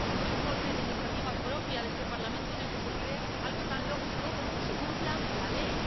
Un informe de iniciativa propia de este Parlamento en el que se pide algo tan lógico como que se cumpla la ley.